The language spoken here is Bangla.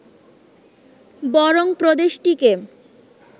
বরং প্রদেশটিকে